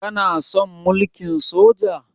Kana son mulkin Soja?